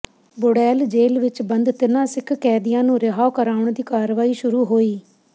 Burail jail ਵਿਚ ਬੰਦ ਤਿੰਨਾਂ ਸਿੱਖ ਕੈਦੀਆਂ ਨੂੰ ਰਿਹਾਅ ਕਰਾਉਣ ਦੀ ਕਾਰਵਾਈ ਸ਼ੁਰੂ ਹੋਈ